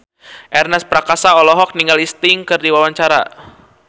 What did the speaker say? Ernest Prakasa olohok ningali Sting keur diwawancara